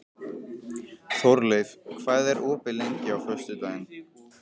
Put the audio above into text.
Þórleif, hvað er opið lengi á föstudaginn?